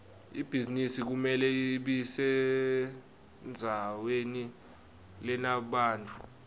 ibhizinisi kumele ibesendzaweni lenebantfu